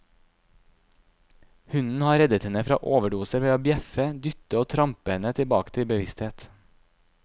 Hunden har reddet henne fra overdoser ved å bjeffe, dytte og trampe henne tilbake til bevissthet.